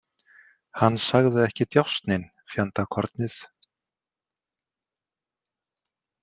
Hann sagði ekki djásnin, fjandakornið.